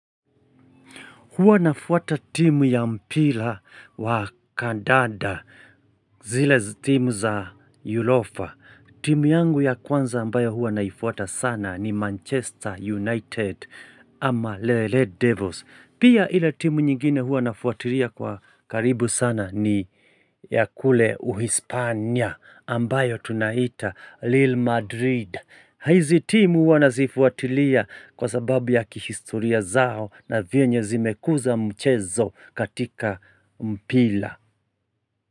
Huwa nafuata timu ya mpira wa kandanda zile timu za yulofa. Timu yangu ya kwanza ambayo huwa naifuata sana ni Manchester United ama the Red Devils. Pia ile timu nyingine huwa nafuatilia kwa karibu sana ni ya kule uhispania ambayo tunaita Lille Madrid. Hizi timu huwa nazifuatilia kwa sababu ya kihistoria zao na vyenye zimekuza mchezo katika mpila.